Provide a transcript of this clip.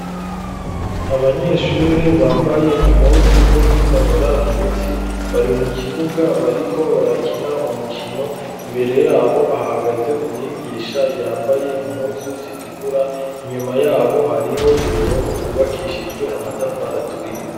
Abanyeshuri bambaye impuzu zo kwinonora imitsi bari mu kibuga bariko barakina umukino imbere yabo ahagaze umwigisha yambaye impuzu zitukura inyuma yabo hariho uruhome rwubakishijwe amatafari aturiye.